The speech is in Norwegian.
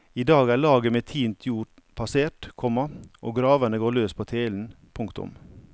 I dag er laget med tint jord passert, komma og graverne går løs på telen. punktum